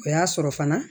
O y'a sɔrɔ fana